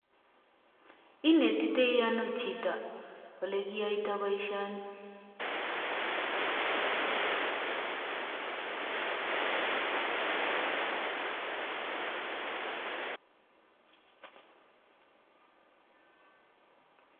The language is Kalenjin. Inetitoi ano chito olekiyoitoi boisyoni?